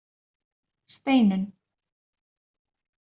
Steinunn